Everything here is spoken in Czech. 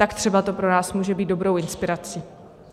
Tak třeba to pro nás může být dobrou inspirací.